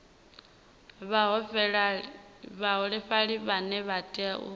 vhaholefhali vhane vha tea u